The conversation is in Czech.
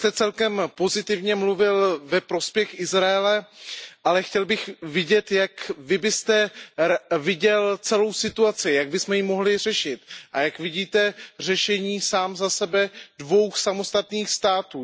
Vy jste celkem pozitivně mluvil ve prospěch Izraele, ale chtěl bych vědět Jak vy byste viděl celou situaci, jak bychom ji mohli řešit, a jak vidíte sám za sebe řešení dvou samostatných států?